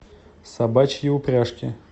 собачьи упряжки